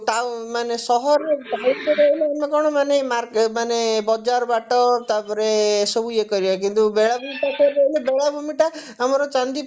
town ମାନେ ସହରରେ ସହର ଭିତରେ ରହିଲେ ମାନେ କଣ ମାନେ market ମାନେ ବଜାର ବାଟ ତାପରେ ସବୁ ଇଏ କରିବା କିନ୍ତୁ ବେଳାଭୂମିରେ ପାଖରେ ରହିଲେ ବେଳାଭୂମିଟା ଆମର ଚାନ୍ଦିପୁର